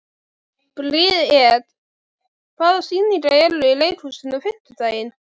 Briet, hvaða sýningar eru í leikhúsinu á fimmtudaginn?